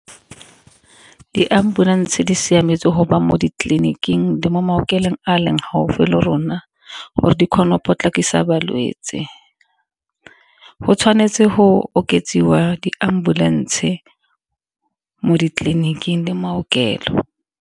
Di-ambulance di siametse mo ditleliniking le mo maokelong a leng gaufi le rona, gore di kgona go potlakisa balwetse. Go tshwanetse go oketsiwa di-ambulance mo ditleliniking le maokelo.